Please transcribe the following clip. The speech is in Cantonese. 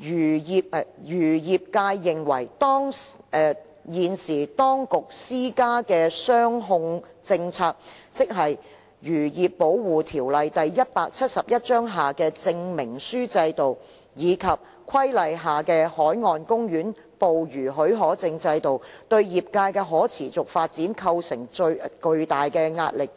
漁業界認為現時當局施加的"雙控政策"，即《漁業保護條例》下的證明書制度，以及《規例》下的海岸公園捕魚許可證制度，對業界的可持續發展構成巨大壓力。